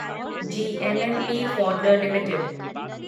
GMMP फ़ॉडलर limited